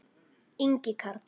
Ingi Karl.